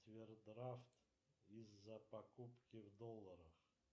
овердрафт из за покупки в долларах